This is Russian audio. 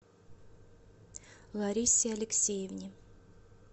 ларисе алексеевне